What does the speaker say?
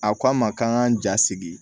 A ko an ma k'an k'an ja sigi